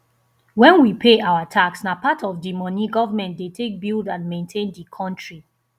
when we pay our tax na part of di money government dey take build and maintain di country